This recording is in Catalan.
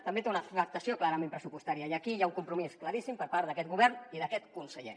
també té una afectació clarament pressupostària i aquí hi ha un compromís claríssim per part d’aquest govern i d’aquest conseller